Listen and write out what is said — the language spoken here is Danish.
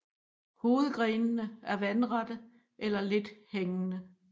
Hovedgrenene er vandrette eller lidt hængende